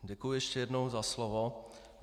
Děkuji ještě jednou za slovo.